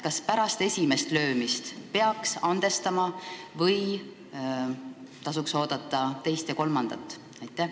Kas pärast esimest löömist peaks andestama või tuleks oodata teist ja kolmandat korda?